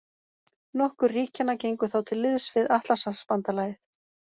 Nokkur ríkjanna gengu þá til liðs við Atlantshafsbandalagið.